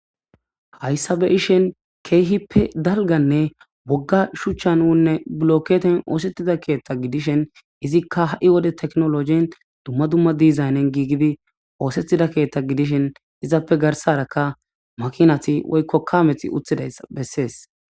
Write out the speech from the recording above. Hayssabe ishen keehippe dalganne wogga shuchchan uunne blokketen oosettida keethta gidishen izikka ha'i wode teknologin dumma dumma dizaynen giigibi oosettida keethta gidishen izappe garsarakka makinati woykkokkaameti uthidays bessees.